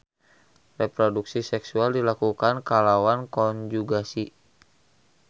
Reproduksi seksual dilakukan kalawan konjugasi.